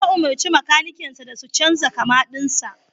Ya umurci makanikansa da su canza kama dinsa.